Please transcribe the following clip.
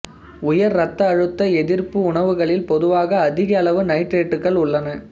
உயர் இரத்த அழுத்த எதிர்ப்பு உணவுகளில் பொதுவாக அதிக அளவு நைட்ரேட்டுகள் உள்ளன